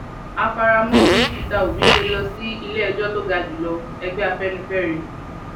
a fara mọ bí peter obi ṣe lọ sí iléẹjọ tó ga jù lọ ẹgbẹ afẹnifẹre